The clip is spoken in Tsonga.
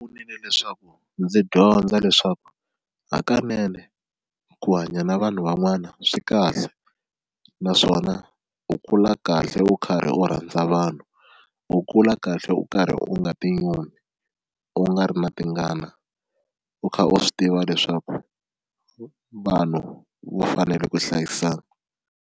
leswaku ndzi dyondza leswaku hakanene ku hanya na vanhu van'wana swi kahle naswona u kula kahle u karhi u rhandza vanhu u kula kahle u karhi u nga tinyumi u nga ri na tingana, u kha u swi tiva leswaku vanhu va fanele ku hlayisana.